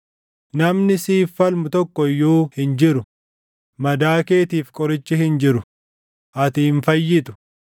Namni siif falmu tokko iyyuu hin jiru; madaa keetiif qorichi hin jiru; ati hin fayyitu.